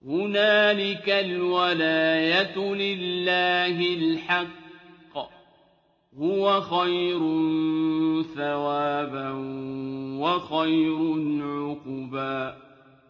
هُنَالِكَ الْوَلَايَةُ لِلَّهِ الْحَقِّ ۚ هُوَ خَيْرٌ ثَوَابًا وَخَيْرٌ عُقْبًا